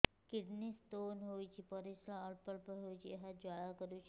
kidney stone ହୋଇଛି ପରିସ୍ରା ଅଳ୍ପ ଅଳ୍ପ ହେଉଛି ଏବଂ ଜ୍ୱାଳା କରୁଛି